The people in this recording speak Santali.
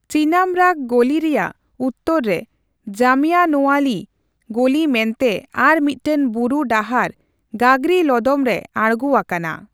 ᱪᱤᱱᱟᱢᱚᱨᱟᱜᱽ ᱜᱚᱞᱤᱨᱮᱭᱟᱜ ᱩᱛᱛᱚᱨ ᱨᱮ ᱡᱟᱢᱤᱭᱟᱱᱳᱣᱟᱞᱤ ᱜᱚᱞᱤ ᱢᱮᱱᱛᱮ ᱟᱨ ᱢᱤᱫᱴᱟᱝ ᱵᱩᱨᱩ ᱰᱟᱦᱟᱨ ᱜᱟᱜᱽᱨᱤ ᱞᱚᱫᱚᱢ ᱨᱮ ᱟᱬᱜᱳ ᱟᱠᱟᱱᱟ ᱾